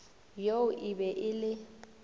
yoo e be e le